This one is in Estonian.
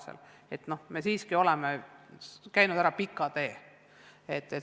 Nii et me oleme siiski käinud ära pika tee.